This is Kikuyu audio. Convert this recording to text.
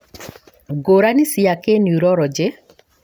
ngũrani cia kĩniuroronjĩ